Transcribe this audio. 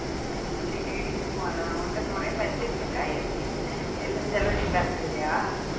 உம் சரி டி போலாம் உன்கிட்ட நிறைய budget இருக்க எப்பிடி எல்லாம் செலவும் நீ பார்த்துடுவியா